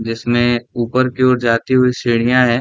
जिसमे ऊपर की ओर जाती हुई सीढ़ीयाँ है।